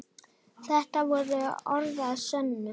Þetta voru orð að sönnu.